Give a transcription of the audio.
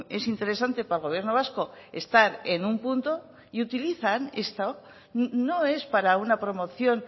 es interesante para el gobierno vasco estar en un punto y utilizan esto no es para una promoción